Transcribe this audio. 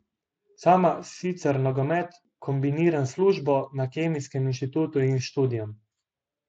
Sama sicer nogomet kombiniram s službo na Kemijskem inštitutu in s študijem.